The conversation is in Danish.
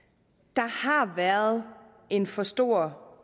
der har været en for stor